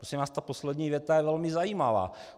- Prosím vás, ta poslední věta je velmi zajímavá.